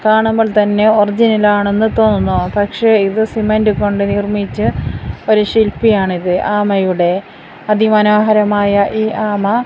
കാണുമ്പോൾ തന്നെ ഒറിജിനൽ ആണെന്ന് തോന്നും പക്ഷേ ഇത് സിമൻ്റ് കൊണ്ട് നിർമിച്ച ഒരു ശില്പി ആണിത് ആമയുടെ അതി മനോഹരമായ ഈ ആമ--